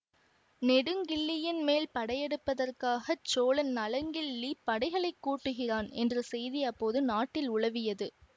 நெடுங்கிள்ளியின் மேல் படையெடுப்பதற்காகச் சோழன் நலங்கிள்ளி படைகளை கூட்டுகிறான் என்ற செய்தி அப்போது நாட்டில் உலவியது